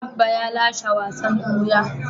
Abba ya lashe wasan buya.